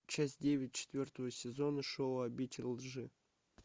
часть девять четвертого сезона шоу обитель лжи